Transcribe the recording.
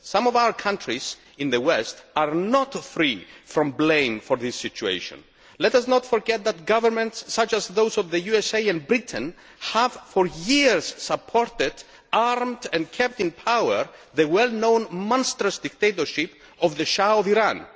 Some of our countries in the West are not free from blame for this situation. Let us not forget that governments such as those of the USA and Britain have for years supported, armed and kept in power the well known monstrous dictatorship of the Shah of Iran.